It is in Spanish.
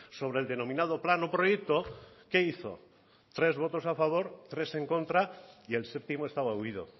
sobre el denominado plan o proyecto qué hizo tres votos a favor tres en contra y el séptimo estaba huido